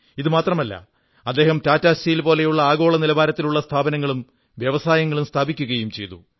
ഇതുമാത്രമല്ല അദ്ദേഹം ടാറ്റാ സ്റ്റീൽ പോലുള്ള ആഗോള നിലവാരത്തിലുള്ള സ്ഥാപനങ്ങളും വ്യവസായങ്ങളും സ്ഥാപിക്കയും ചെയ്തു